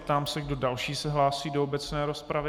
Ptám se, kdo další se hlásí do obecné rozpravy.